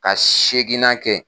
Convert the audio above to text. Ka seginna kɛ.